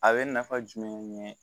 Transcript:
A bɛ nafa jumɛn ɲɛ